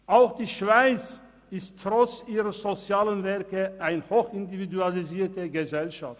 Auch die Schweiz ist trotz ihrer sozialen Werke eine hoch individualisierte Gesellschaft.